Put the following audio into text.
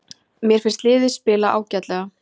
Mér finnst liðið spila ágætlega.